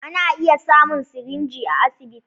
Ana iya samun sirinji a asibiti.